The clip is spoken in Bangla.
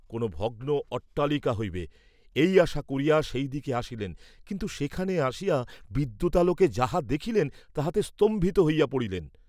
কোনো ভগ্ন অট্টালিকা হইবে, এই আশা করিয়া সেই দিকে আসিলেন, কিন্তু সেখানে আসিয়া বিদ্যুতালোকে যাহা দেখিলেন, তাহাতে স্তম্ভিত হইয়া পড়িলেন।